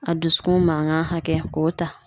A dusukun mankan hakɛ k'o ta.